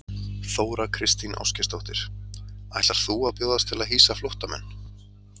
Þóra Kristín Ásgeirsdóttir: Ætlar þú að bjóðast til að hýsa flóttamenn?